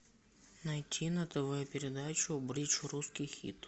найти на тв передачу бридж русский хит